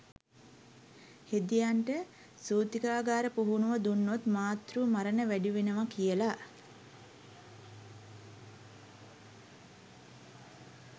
හෙදියන්ට සූතිකාගාර පුහුණුව දුන්නොත් මාතෘ මරණ වැඩි වෙනවා කියලා